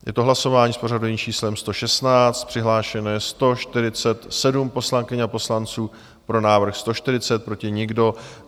Je to hlasování s pořadovým číslem 116, přihlášeno je 147 poslankyň a poslanců, pro návrh 140, proti nikdo.